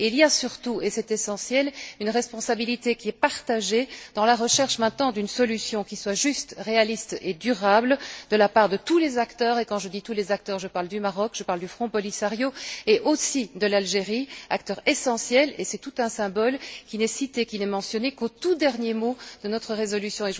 Il y a surtout et c'est essentiel une responsabilité qui est partagée dans la recherche maintenant d'une solution qui soit juste, réaliste et durable, de la part de tous les acteurs, et quand je dis tous les acteurs, je parle du Maroc, je parle du Front Polisario et aussi de l'Algérie, acteur essentiel et c'est tout un symbole, qui n'est citée, qui n'est mentionnée qu'au tout dernier mot de notre résolution.